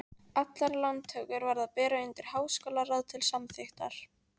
Allar lántökur varð að bera undir háskólaráð til samþykktar.